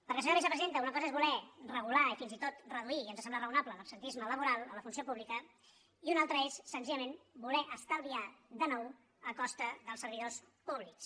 perquè senyora vicepresidenta una cosa és voler regular i fins i tot reduir i ens sembla raonable l’absentisme laboral a la funció pública i una altra és senzillament voler estalviar de nou a costa dels servidors públics